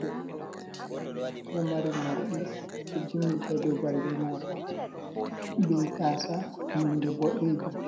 Debbo oɗo mari morɗi ɗo jimmiti ha dou balbe mako be gasa nonde bodejum